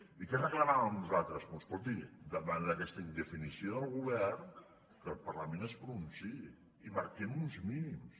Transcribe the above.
i què reclamàvem nosaltres doncs escolti davant d’aquesta indefinició del govern que el parlament es pronunciï i marquem uns mínims